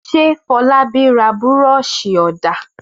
Fọlábí ra búrọ́ṣì-ọ̀dà?